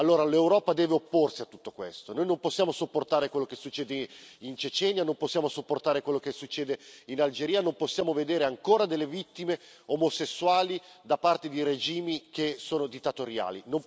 Allora, l'Europa deve opporsi a tutto questo, noi non possiamo sopportare quello che succede in Cecenia, non possiamo sopportare quello che succede in Algeria, non possiamo vedere ancora delle vittime omosessuali da parte di regimi che sono dittatoriali.